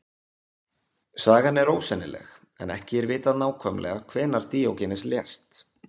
Sagan er ósennileg en ekki er vitað nákvæmlega hvenær Díógenes lést.